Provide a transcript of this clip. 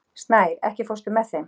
Snær, ekki fórstu með þeim?